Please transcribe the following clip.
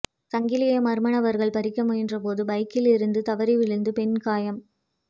சங்கிலியை மா்ம நபா்கள் பறிக்க முயன்றபோது பைக்கிலிருந்து தவறி விழுந்து பெண் காயம்